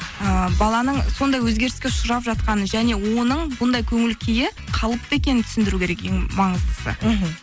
ыыы баланың сондай өзгеріске ұшырап жатқаны және оның бұндай көңіл күйі қалыпты екенін түсіндіру керек ең маңыздысы мхм